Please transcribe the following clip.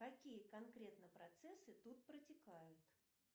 какие конкретно процессы тут протекают